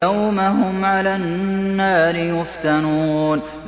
يَوْمَ هُمْ عَلَى النَّارِ يُفْتَنُونَ